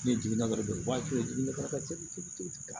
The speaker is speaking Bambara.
Ni jiginna dɔrɔn u b'a to yen ne kɛrɛfɛ